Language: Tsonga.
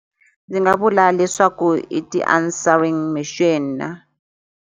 Ndzi nga vula leswaku i ti-answering machine.